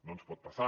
no ens pot passar